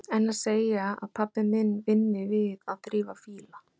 En að segja að pabbi minn vinni við að þrífa fíla?